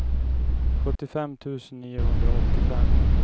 sjuttiofem tusen niohundraåttiofem